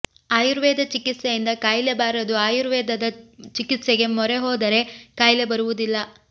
ಆಯುರ್ವೇದ ಚಿಕಿತ್ಸೆಯಿಂದ ಕಾಯಿಲೆ ಬಾರದು ಆಯುರ್ವೇದ ಚಿಕಿತ್ಸೆಗೆ ಮೊರೆ ಹೋದರೆ ಕಾಯಿಲೆ ಬರುವುದಿಲ್ಲ